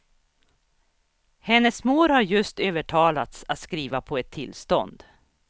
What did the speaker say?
Hennes mor har just övertalats att skriva på ett tillstånd.